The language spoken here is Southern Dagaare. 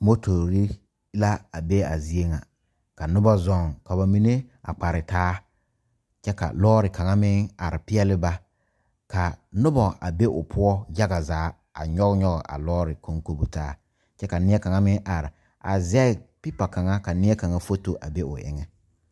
Motori la be a zie ŋa ka noba zɔŋ ka ba mine a kpare taa kyɛ ka lɔɔre kaŋa meŋ are peɛle ba ka noba a be o poɔ yaga zaa a nyɔge nyɔge a lɔɔre konkobo taa kyɛ ka neɛ kaŋa meŋ are a zɛge pepa kaŋa ka neɛ foto a be o eŋɛ.